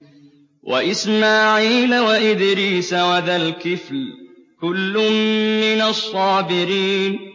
وَإِسْمَاعِيلَ وَإِدْرِيسَ وَذَا الْكِفْلِ ۖ كُلٌّ مِّنَ الصَّابِرِينَ